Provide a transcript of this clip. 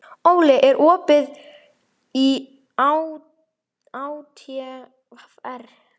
Óli, er opið í ÁTVR?